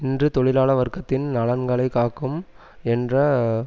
இன்று தொழிலாள வர்க்கத்தின் நலன்களைக்காக்கும் என்ற